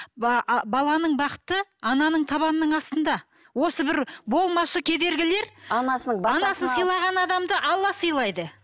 ы баланың бақыты ананың табанының астында осы бір болмашы кедергілер анасын сыйлаған адамды алла сыйлайды